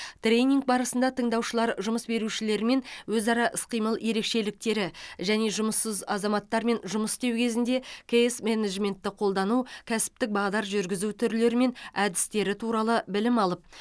тренинг барысында тыңдаушылар жұмыс берушілермен өзара іс қимыл ерекшеліктері және жұмыссыз азаматтармен жұмыс істеу кезінде кейс менеджментті қолдану кәсіптік бағдар жүргізу түрлері мен әдістері туралы білім алып